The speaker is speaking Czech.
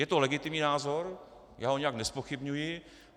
Je to legitimní názor, já ho nijak nezpochybňuji.